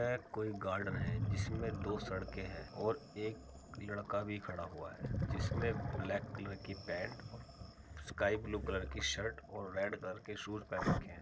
यह कोई गार्डन है जिसमें दो सड़कें हैं और एक लड़का भी खड़ा हुआ है जिसने ब्लैक कलर की पैंट और स्काई ब्लू कलर की शर्ट और रेड कलर के शूज पहन रखें है ।